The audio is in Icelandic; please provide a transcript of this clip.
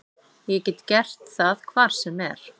Ég get gert það hvar sem er.